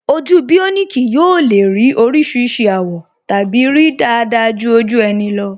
Ojú bioniki yóò le ní oríṣiríṣi àwọ̀ tàbí rí dáadáa ju ojú ẹni lọ